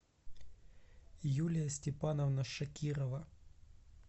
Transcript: юлия степановна шакирова